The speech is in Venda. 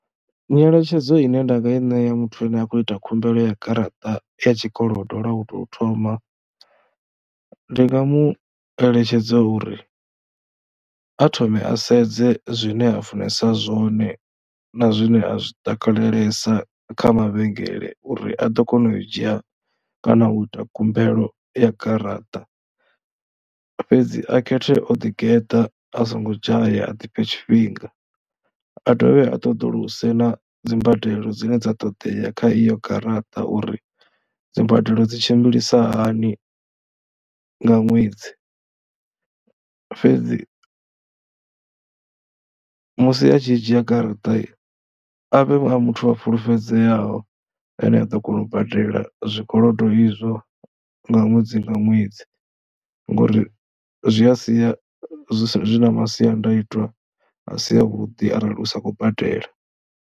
Nyeletshedzo ine nda nga i ṋea muthu ane a khou ita khumbelo ya garaṱa ya tshikolodo lwa u tou thoma ndi nga mu eletshedza uri a thome a sedze zwine a funesa zwone na zwine a zwi takalelesa kha mavhengele uri a ḓo kona u dzhia kana u ita khumbelo ya garaṱa. Fhedzi a khethe o ḓigeḓa a songo dzhaya a ḓifhe tshifhinga, a dovhe a ṱoḓuluse na dzi mbadelo dzine dza ṱoḓea kha iyo garaṱa, uri dzi mbadelo dzi tshimbilisa hani nga ṅwedzi. Fhedzi musi a tshi dzhia garaṱa a vhe a muthu a fulufhedzeaho ane a ḓo kona u badela zwikolodo izwo nga ṅwedzi nga ṅwedzi ngori zwi a sia zwi na masiandaitwa a si avhuḓi arali u sa khou badela.